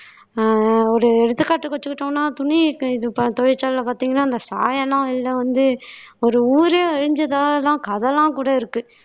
அஹ் ஒரு எடுத்துக்காட்டுக்கு வெச்சுக்கிட்டோம்ன்னா துணி இருக்க இது ப தொழிற்சாலையில பாத்தீங்கன்னா அந்த சாயமெல்லாம் வெளில வந்து ஒரு ஊரே அழிஞ்சதாலதான் கதயெல்லாம்கூட இருக்கு